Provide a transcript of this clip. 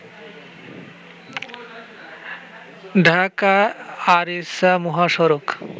ঢাকা আরিচা মহাসড়ক